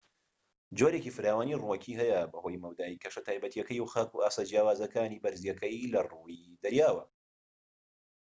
جۆرێکی فراوانی ڕووەکی هەیە بەهۆی مەودای کەشە تایبەتیەکەی و خاک و ئاستە جیاوازەکانی بەرزیەکەی لە ڕووی دەریاوە